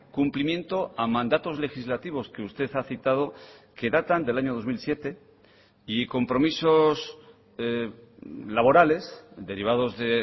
cumplimiento a mandatos legislativos que usted ha citado que datan del año dos mil siete y compromisos laborales derivados de